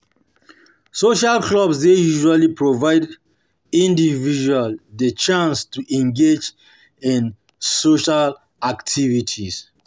Social clubs dey usually provide individuals di chance to engage in social activities